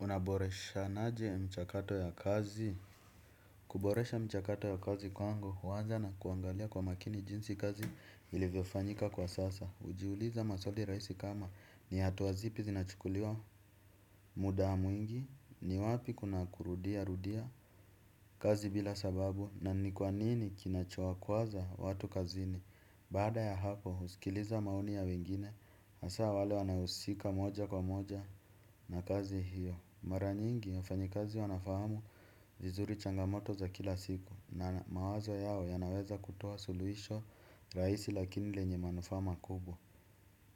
Unaboreshanaje mchakato ya kazi. Kuboresha mchakato ya kazi kwangu huanza na kuangalia kwa makini jinsi kazi ilivyofanyika kwa sasa. Ujiuliza maswali raisi kama ni hatua zipi zinachukuliwa muda mwingi. Ni wapi kuna kurudia rudia kazi bila sababu na ni kwa nini kinachokuaza watu kazini. Baada ya hapo usikiliza maoni ya wengine. Asa wale wanaohusika moja kwa moja na kazi hiyo. Mara nyingi, wafanyikazi wanafahamu vizuri changamoto za kila siku. Na mawazo yao yanaweza kutoa suluhisho raisi lakini lenye manufaa makubwa.